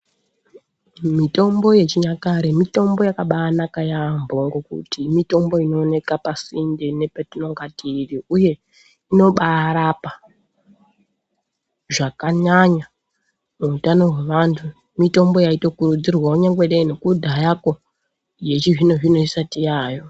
Mitombo yechinyakare mitombo yakabaanaka yaampho, ngokuti mitombo inooneka pasinde nepetinonga tiri, uye inobaarapa, zvakanyanya, muutano hwevantu. Mitombo yaitokurudzirwawo kunyangwe dai nekudhako, yechizvino-zvino isati yaayo.